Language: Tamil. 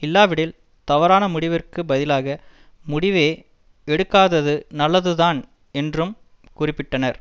இல்லாவிடில் தவறான முடிவிற்குப் பதிலாக முடிவே எடுக்காதது நல்லதுதான் என்றும் குறிப்பிட்டனர்